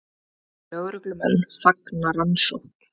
Lögreglumenn fagna rannsókn